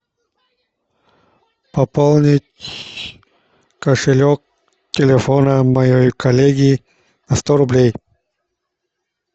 пополнить кошелек телефона моей коллеги на сто рублей